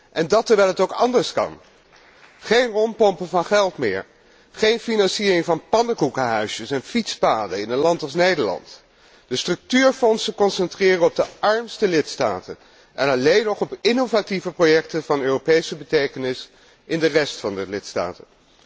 En dat terwijl het ook anders kan geen rondpompen van geld meer, geen financiering van pannenkoekenhuisjes en fietspaden in een land als Nederland, maar de structuurfondsen concentreren op de armste lidstaten en alleen nog op innovatieve projecten van Europese betekenis in de rest van de lidstaten.